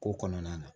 Ko kɔnɔna na